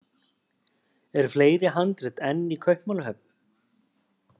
Eru fleiri handrit enn í Kaupmannahöfn?